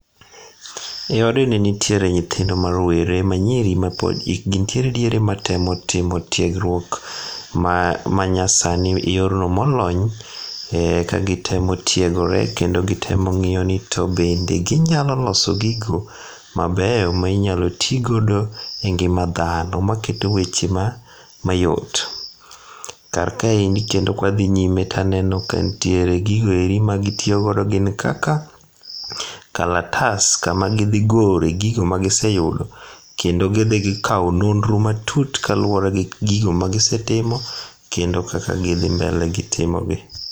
Eodni nitiere nyithindo marowere manyiri ma pod ikgi nitiere diere matemo timo tiegruok manyasani e yorno molony, kagitemo tiegre kendo gitemo ng'iyo ni to bende ginyalo loso gigo mabeyo ma inyalo tigodo e ngima dhano maketo weche mayot. Karkaendi kendo kwadhinyime taneno kantiere gigo eri magitiyogo ma gin kaka, kalatas kama gidhigore gigo ma giseyudo, kendo gidhigikawo nonro matut kaluwore gi gigo magisetimo kendo kaka gidhi mbele gi timogi.